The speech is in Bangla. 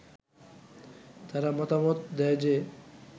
তারা মতামত দেয় যে